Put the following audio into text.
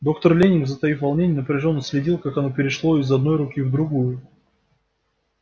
доктор лэннинг затаив волнение напряжённо следил как оно перешло из одной руки в другую